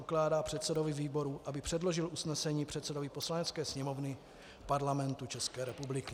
Ukládá předsedovi výboru, aby předložil usnesení předsedovi Poslanecké sněmovny Parlamentu České republiky.